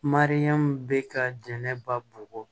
Mariyamu bɛ ka jɛnɛba bugɔ